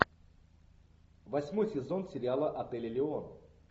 восьмой сезон сериала отель элеон